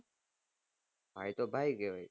ભાઈ તો ભાઈ કહેવાય